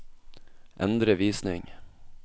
endre visning